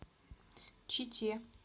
чите